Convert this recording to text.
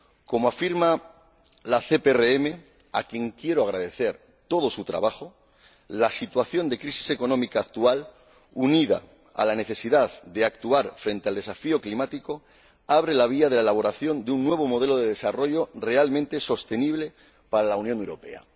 Como afirma la CRPM —a quien quiero agradecer todo su trabajo—, la situación de crisis económica actual, unida a la necesidad de actuar frente al desafío climático, abre la vía a la elaboración de un nuevo modelo de desarrollo realmente sostenible para la Unión Europea.